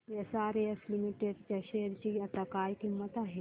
SRS limited च्या share ची आता काय किंमत आहे